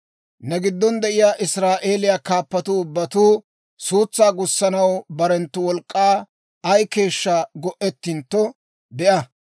«‹ «Ne giddon de'iyaa Israa'eeliyaa kaappatuu ubbatuu suutsaa gussanaw barenttu wolk'k'aa ay keeshshaa go'ettintto be'a.